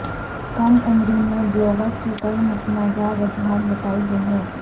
کم عمری میں بلوغت کی کئی متنازعہ وجوہات بتائی گئی ہیں